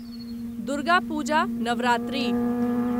Durga Puja Navratri